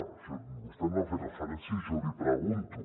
a això vostè no hi ha fet referència i jo l’hi pregunto